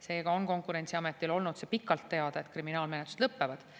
Seega on Konkurentsiametil olnud pikalt teada, et kriminaalmenetlused lõppevad.